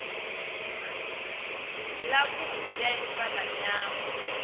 yavhudi ya ifa la nyambo